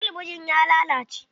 Talabijin ya lalace.